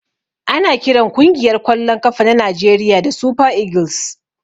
Ana kiran kungiyar kwallon kafa na Najeriya da " super eagles".